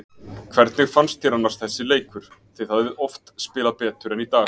Hvernig fannst þér annars þessi leikur, þið hafið oft spilað betur en í dag?